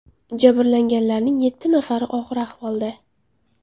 Jabrlanganlarning yetti nafari og‘ir ahvolda.